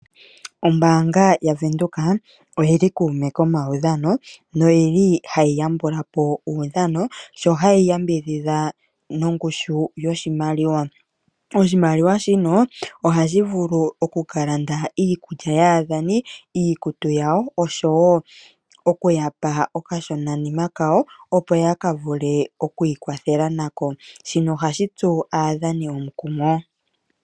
Ombaanga yaVenduka oyi li kuume komaudhano noyi li hayi yambula po omaudhano sho hayi yambidhidha nongushu yoshimaliwa. Oshimaliwa shino ohashi vulu oku ka landa iikulya yaadhani, iikutu yawo, oshowo okuya pa okashonanima kawo, opo ya ka vule oku ikwathela nako. Shino ohashi tsu aadhani omukumo.